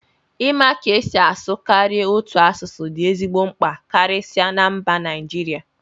ịma ka esi asụ karịa otu asụsụ dị ezigbo mkpa karịsịa na mba Naijiria